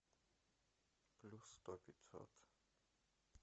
плюс сто пятьсот